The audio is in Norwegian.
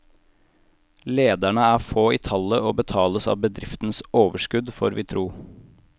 Lederne er få i tallet og betales av bedriftens overskudd, får vi tro.